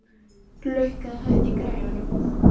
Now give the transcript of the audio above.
Lukka, hækkaðu í græjunum.